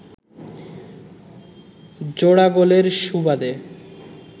জোড়া গোলের সুবাদে